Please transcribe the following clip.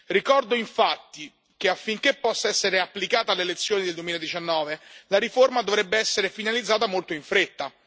Ricordo infatti che, affinché possa essere applicata alle elezioni del 2019, la riforma dovrebbe essere finalizzata molto in fretta.